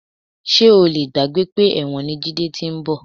Ṣé o lè gbàgbé pé ẹ̀wọ̀n ni Jídé ti ń bọ̀?